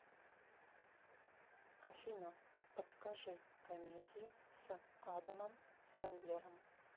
афина подскажи комедии с адамом сендлером